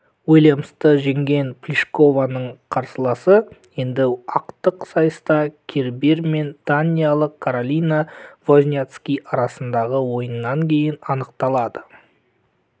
уильямсты жеңген плишкованың қарсыласы енді ақтық сайыста кербер мен даниялық каролина возняцки арасындағы ойыннан кейін анықталады